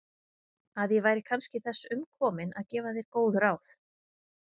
Að ég væri kannski þess umkomin að gefa þér góð ráð?